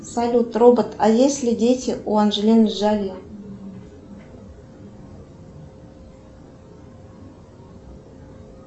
салют робот а есть ли дети у анджелины джоли